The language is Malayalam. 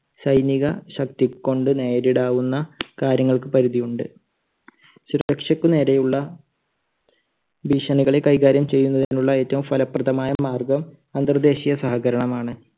സൈനികശക്തി കൊണ്ട് നേരിടാവുന്ന കാര്യങ്ങൾക്ക് പരിധിയുണ്ട്. സുരക്ഷയ്ക്ക് നേരെയുള്ള ഭീഷണികളെ കൈകാര്യം ചെയ്യുന്നതിനുള്ള ഏറ്റവും ഫലപ്രദമായ മാർഗം അന്തർദേശീയ സഹകരണമാണ്.